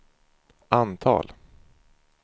antal